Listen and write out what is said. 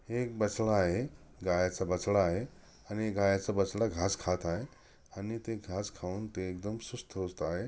एक बसला आहे गायाचा बछडा आहे आणि गायाचा बछडा घास खात आहे आणि ते घास खाहून ते एकदम सुस्त-हुस्थ आहे.